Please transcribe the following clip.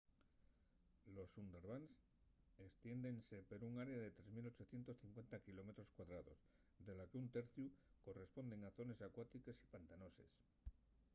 los sundarbans estiéndense per un área de 3 850 km2 de la qu'un terciu correspuende a zones acuátiques o pantanoses